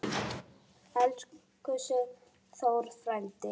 Elsku Sigþór frændi.